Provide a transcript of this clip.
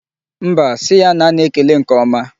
Mba, si ya na a na-ekele nke ọma.